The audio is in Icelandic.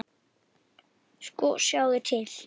Sko, sjáðu til.